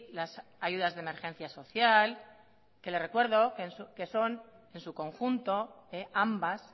las ayudas de emergencia social que le recuerdo que son en su conjunto ambas